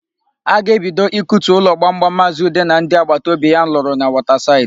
A ga-ebido ikutu ụlọ gbamgbam Maazị Ude na ndị agbata obi ya lụrụ na Wọtasaịdị.